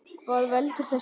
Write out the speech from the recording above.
Hvað veldur þessu?